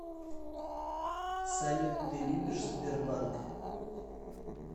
салют ты любишь сбербанк